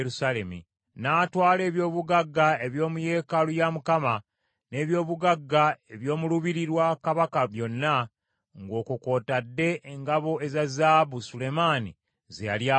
N’atwala eby’obugagga eby’omu yeekaalu ya Mukama , n’ebyobugagga eby’omu lubiri lwa kabaka byonna, ng’okwo kw’otadde engabo eza zaabu Sulemaani ze yali akoze.